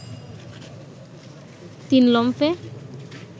তিন লম্ফে